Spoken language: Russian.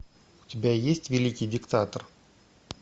у тебя есть великий диктатор